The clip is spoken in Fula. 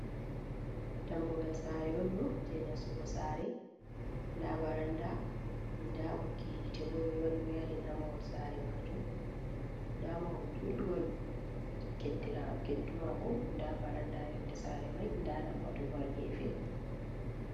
Dammugal saare onɗo je nasugo saare, nda baranda nda ɓoggi hite bo ɓeɗo waɗi wayarin, ha mahol saare majuum nda mahol judgol keddu mako, nda baranda yonde sare mai, nda lambatu bo h gefe.